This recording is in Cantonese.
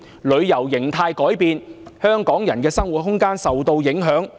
旅遊形態改變，香港人的生活空間受到影響。